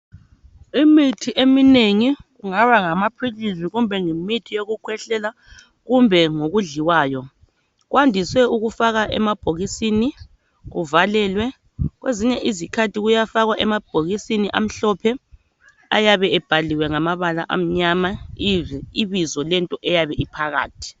Imithi eminengi kungaba ngamaphilisi kumbe yimithi yokukhwehlela kumbe ngokudliwayo kwandise ukufakwa emabhokisini kuvalelwe kwezinye izikhathi kuyafakwa emabhokisini amhlophe ayabe ebhaliwe ngamabala amnyama ibizo lento eyabe iphakathi.